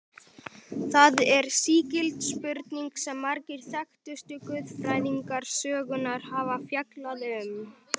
Það er sígild spurning sem margir þekktustu guðfræðingar sögunnar hafa fjallað um.